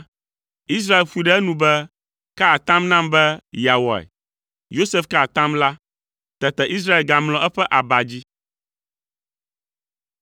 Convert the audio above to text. Israel ƒoe ɖe enu be, “Ka atam nam be yeawɔe.” Yosef ka atam la. Tete Israel gamlɔ eƒe aba dzi.